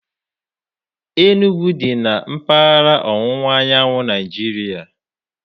Enugwu dị na mpaghara ọwụwa anyanwụ Nigeria.